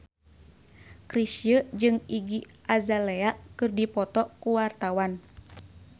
Chrisye jeung Iggy Azalea keur dipoto ku wartawan